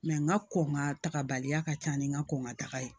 n ka kɔn ka taga baliya ka ca ni n ka kɔn ka taga ye